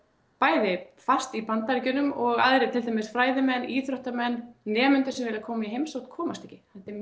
bæði fast í Bandaríkjunum og aðrir til dæmis fræðimenn íþróttamenn nemendur sem vilja koma í heimsókn komast ekki þetta er